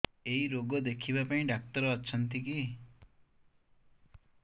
ଏଇ ରୋଗ ଦେଖିବା ପାଇଁ ଡ଼ାକ୍ତର ଅଛନ୍ତି କି